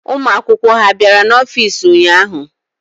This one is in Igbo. Ụmụ akwụkwọ ha bịara n'ọfiisi ụnyaahụ?